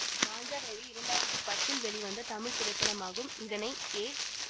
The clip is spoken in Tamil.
மாஞ்சா வேலு இரண்டாயிரத்தி பத்தில் வெளிவந்த தமிழ் திரைப்படமாகும் இதனை ஏ